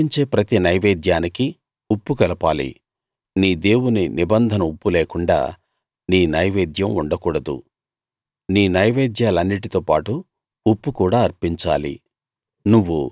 నువ్వు అర్పించే ప్రతి నైవేద్యానికీ ఉప్పు కలపాలి నీ దేవుని నిబంధన ఉప్పు లేకుండా నీ నైవేద్యం ఉండకూడదు నీ నైవేద్యాలన్నిటితో పాటు ఉప్పు కూడా అర్పించాలి